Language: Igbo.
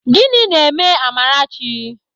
Gịnị na-eme Amarachi?